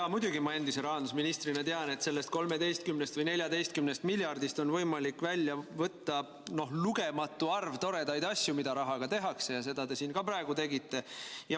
Jaa, muidugi ma endise rahandusministrina tean, et sellest 13 või 14 miljardist on võimalik välja võtta lugematu arv toredaid asju, mida rahaga teha, ja seda te siin ka praegu tegite.